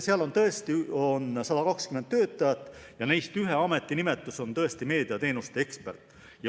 Seal on 120 töötajat ja neist ühe ametinimetus on tõesti meediateenuste ekspert.